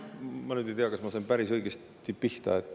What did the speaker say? Ma nüüd ei tea, kas ma sain päris õigesti pihta.